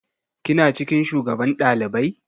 Kina cikin shugaban ɗalibai?